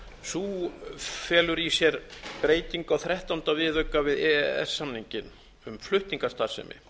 sú felur í sér breytingu á þrettánda viðauka við e e s samninginn um flutningastarfsemi